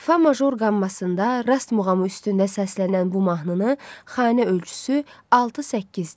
Fa major qammasında, Rast muğamı üstündə səslənən bu mahnının xanə ölçüsü 6-8-dir.